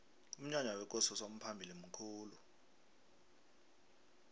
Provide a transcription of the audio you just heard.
umnyanya wekosi usomphalili mkhulu